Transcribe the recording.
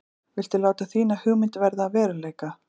Viltu láta þína hugmynd verða að veruleika?